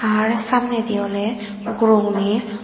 ar samnedi oley guro guney.